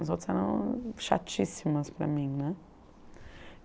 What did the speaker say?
As outras eram chatíssimas para mim, né.